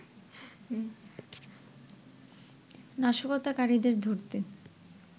নাশকতাকারীদের ধরতে